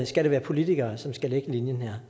skal det være politikere som skal lægge linjen